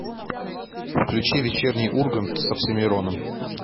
включи вечерний ургант с оксимироном